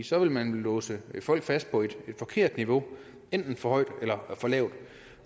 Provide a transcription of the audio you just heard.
så ville man jo låse folk fast på et forkert niveau enten for højt eller for lavt